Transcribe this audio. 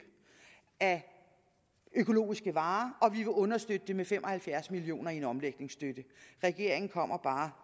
af økologiske varer og vi vil understøtte det med fem og halvfjerds million kroner i omlægningsstøtte regeringen kommer bare